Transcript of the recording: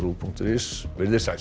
punktur is veriði sæl